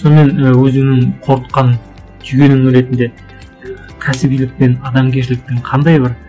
сонымен і өзімнің қорытқан түйінімнің ретінде кәсібилік пен адамгершіліктің қандай бір